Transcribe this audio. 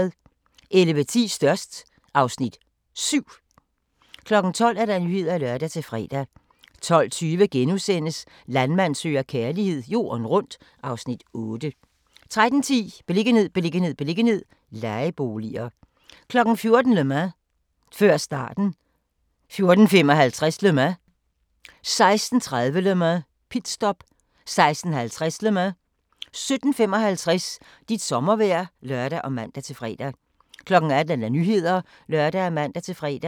11:10: Størst (Afs. 7) 12:00: Nyhederne (lør-fre) 12:20: Landmand søger kærlighed - jorden rundt (Afs. 8)* 13:10: Beliggenhed, beliggenhed, beliggenhed - lejeboliger 14:00: Le Mans - før starten 14:55: Le Mans 16:30: Le Mans - pitstop 16:50: Le Mans 17:55: Dit sommervejr (lør og man-fre) 18:00: Nyhederne (lør og man-fre)